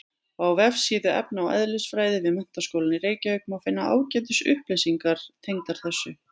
Á vefsíðu efna- og eðlisfræði við Menntaskólann í Reykjavík má finna ágætis upplýsingar tengdar þessu.